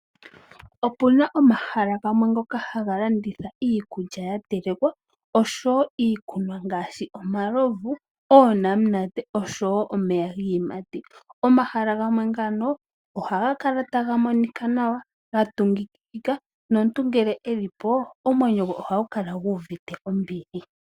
Opuna omahala gamwe ngoka haga landitha iikulya yatelekwa oshowo iikunwa ngaashi omalovu, oonamunate, omeya giiyimati nosho tuu. Omahala ngano ohaga kala ga tungikika taga monika nawa nomuntu ngele elipo omwenyo gwe ohagu kala guuvite ombili.